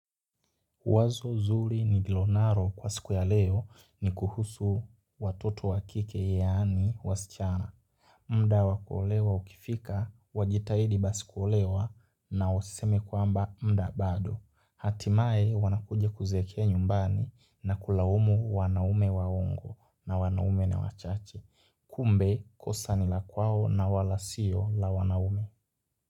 Wazo zuri nililonalo kwa siku ya leo ni kuhusu watoto wakike yani wasichana. Muda wa kuolewa ukifika, wajitahidi basikuolewa na wasiseme kwamba muda bado. Hatimaye wanakuja kuzeekea nyumbani na kulaumu wanaume waongo na wanaume ni wachache. Kumbe kosa nila kwao na wala siyo la wanaume.